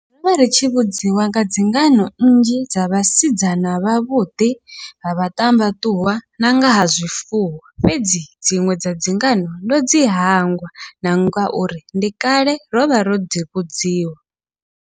Rovha ri tshi vhudziwa nga dzingano nnzhi dza vhasidzana vhavhuḓi, vha vhaṱambaṱuwa nanga ha zwifuwo fhedzi dziṅwe dza dzingano ndo dzi hangwa, na ngauri ndi kale rovha ro dzi vhudziwa.